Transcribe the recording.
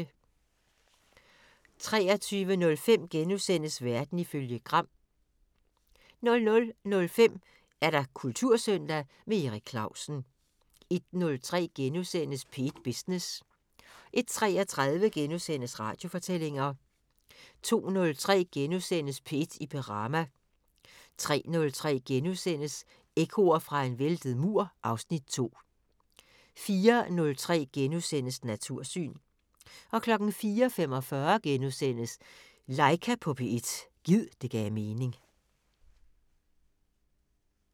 23:05: Verden ifølge Gram * 00:05: Kultursøndag - med Erik Clausen 01:03: P1 Business * 01:33: Radiofortællinger * 02:03: P1 i Perama * 03:03: Ekkoer fra en væltet mur (Afs. 2)* 04:03: Natursyn * 04:45: Laika på P1 – gid det gav mening *